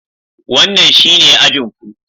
Wannan shine ajin ku.